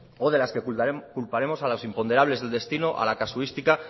o de las que culparemos a los imponderables del destino a la casuística